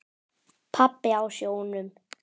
Pabbi á sjónum.